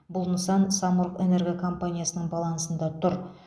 бұл нысан самұрық энерго компаниясының балансында тұр